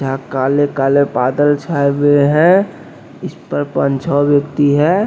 यहां काले-काले बादल छाए हुए हैं इस पर पंछ व्यक्ति है।